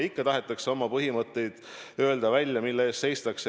Ikka tahetakse välja öelda oma põhimõtteid, mille eest seistakse.